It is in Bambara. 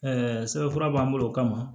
sɛbɛnfura b'an bolo o kama